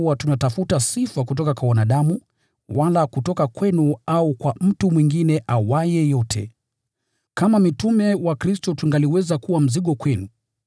Wala hatukuwa tunatafuta sifa kutoka kwa wanadamu, wala kutoka kwenu au kwa mtu mwingine awaye yote. Kama mitume wa Kristo tungaliweza kuwa mzigo kwenu,